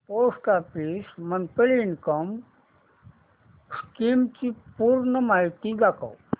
post office monthly income scheme ची पूर्ण माहिती दाखव